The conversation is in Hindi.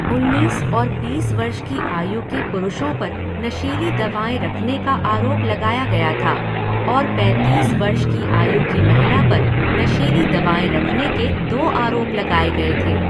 उन्नीस और बीस वर्ष की आयु के पुरुषों पर नशीली दवाएँ रखने का आरोप लगाया गया था और पैंतीस वर्ष की आयु की महिला पर नशीली दवाएँ रखने के दो आरोप लगाए गए थे।